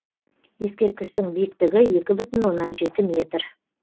ескерткіштің биіктігі екі бүтін оннан жеті метр